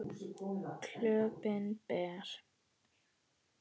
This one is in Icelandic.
Klöppin ber.